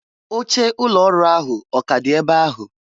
Oche ụlọ ọrụ ahụ ọ k'a dị ebe ahụ?